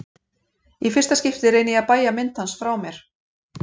Í fyrsta skipti reyni ég að bægja mynd hans frá mér.